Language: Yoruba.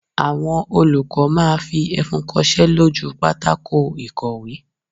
Àwọn olùkọ́ máa fi ẹfun kosé lójú u pátákó ìkọ̀wé